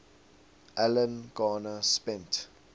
alan garner spent